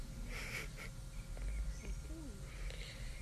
фукуи